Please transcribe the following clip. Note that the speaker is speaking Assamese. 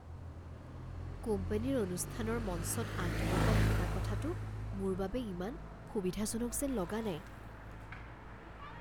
কোম্পানীৰ অনুষ্ঠানৰ মঞ্চত আঁত ধৰোঁতা থকা কথাটো মোৰ বাবে ইমান সুবিধাজনক যেন লগা নাই।